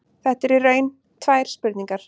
Þetta eru í raun tvær spurningar.